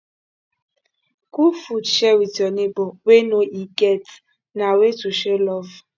cook food share wit you nebor wey no e get na way to show love